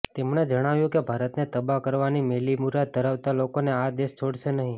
તેમણે જણાવ્યું કે ભારતને તબાહ કરવાની મેલી મુરાદ ધરાવતા લોકોને આ દેશ છોડશે નહીં